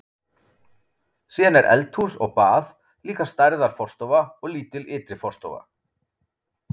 Síðan er eldhús og bað, líka stærðar forstofa og lítil ytri forstofa.